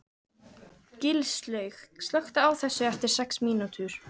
Gilslaug, slökktu á þessu eftir sex mínútur.